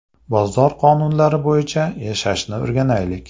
Bozor qonunlari bo‘yicha yashashni o‘rganaylik!